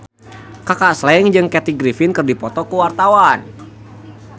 Kaka Slank jeung Kathy Griffin keur dipoto ku wartawan